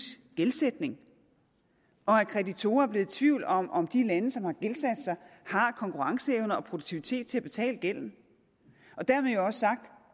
gældsætning og at kreditorer er blevet i tvivl om om de lande som har gældsat sig har konkurrenceevne og produktivitet til at betale gælden dermed jo også sagt